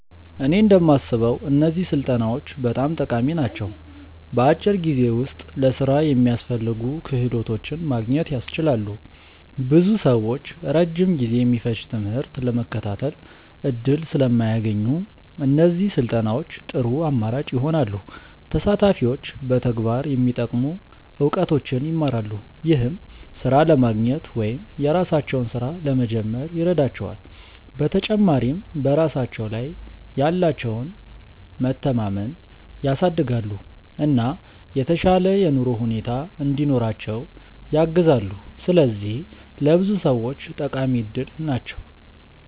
እኔ እንደማስበው እነዚህ ስልጠናዎች በጣም ጠቃሚ ናቸው። በአጭር ጊዜ ውስጥ ለሥራ የሚያስፈልጉ ክህሎቶችን ማግኘት ያስችላሉ። ብዙ ሰዎች ረጅም ጊዜ የሚፈጅ ትምህርት ለመከታተል እድል ስለማያገኙ፣ እነዚህ ስልጠናዎች ጥሩ አማራጭ ይሆናሉ። ተሳታፊዎች በተግባር የሚጠቅሙ እውቀቶችን ይማራሉ፣ ይህም ሥራ ለማግኘት ወይም የራሳቸውን ሥራ ለመጀመር ይረዳቸዋል። በተጨማሪም በራሳቸው ላይ ያላቸውን መተማመን ያሳድጋሉ፣ እና የተሻለ የኑሮ ሁኔታ እንዲኖራቸው ያግዛሉ። ስለዚህ ለብዙ ሰዎች ጠቃሚ እድል ናቸው።